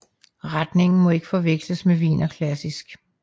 Retningen må ikke forveksles med wienerklassik